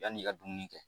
Yann'i ka dumuni kɛ